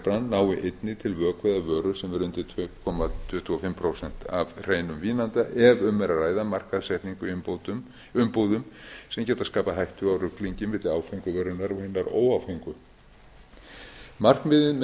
bann nái einnig til vökva eða vöru sem er undir tvö komma tuttugu og fimm prósent af hreinum vínanda ef um er að ræða markaðssetningu í umbúðum sem geta skapað hættu á ruglingi milli áfengu vörunnar og hinnar óáfengu markmiðið með þessari breytingu er að